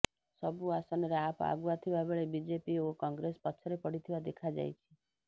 ସବୁ ଆସନରେ ଆପ ଆଗୁଆ ଥିବା ବେଳେ ବିଜେପି ଓ କଂଗ୍ରେସ ପଛରେ ପଡିଥିବା ଦେଖାଯାଇଛି